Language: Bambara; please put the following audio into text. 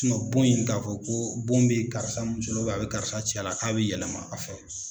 bon in k'a fɔ ko bon bɛ karisa muso la a bɛ karisa cɛ la k'a bɛ yɛlɛma a fɛ.